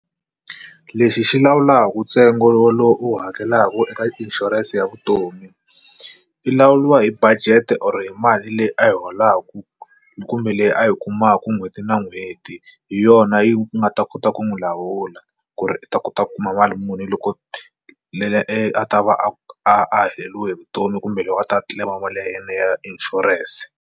Lexi xi lawulaka ntsengo lowu u hakelaka eka inshurense ya vutomi i lawuliwa hi budget or hi mali leyi a yi holaka kumbe leyi a yi kumaka n'hweti na n'hweti hi yona yi nga ta kota ku n'wi lawula ku ri u ta kota ku kuma mali muni loko leri a ta va a a heleriwe hi vutomi kumbe loko a ta a claim mali ya yena ya inshurense.